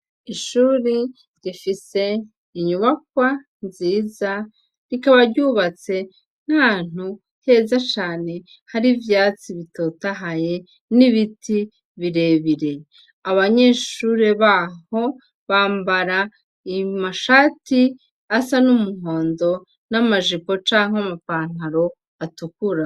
Ishuri rifise inyubakwa nziza rikaba ryubatse nk'ahantu heza cane hari ivyatsi bitotahaye n'ibiti birebire, abanyeshuri baho bambara amashati asa n'umuhondo n'amajipo canke amapantaro atukura.